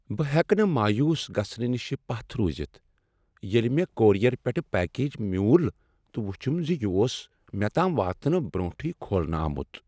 بہ ہیکہ نہٕ مایوٗس گژھُنہ نشہ پتھ رُوزتھ ییلہِ مےٚ کورئیر پیٹھٕہٕ پیکج مِیوُل تہٕ وُچُھم ز یہ اوس مےٚ تام واتنہٕ برونٛٹھٕے کھولنہٕ آمُت ۔